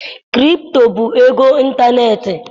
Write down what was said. Krpto bụ ego ịntaneetị.